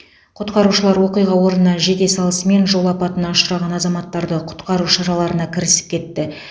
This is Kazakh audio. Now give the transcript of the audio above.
құтқарушылар оқиға орнына жете салысымен жол апатына ұшыраған азаматтарды құтқару шараларына кірісіп кетті